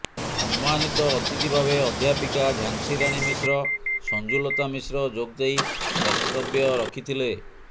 ସମ୍ମାନୀତ ଅତିଥି ଭାବେ ଅଧ୍ୟାପିକା ଝାନସିରାଣୀ ମିଶ୍ର ସଂଜୁଲତା ମିଶ୍ର ଯୋଗଦେଇ ବକ୍ତବ୍ୟ ରଖିଥିଲେ